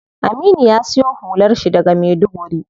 Aminu ya siyo hular shi daga maiduguri.